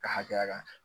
Ka hakɛya kan